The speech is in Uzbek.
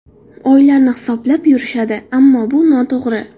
Oylarni hisoblab yurishadi, ammo bu noto‘g‘ri.